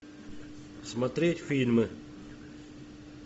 смотреть фильмы